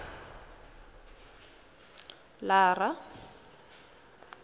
lara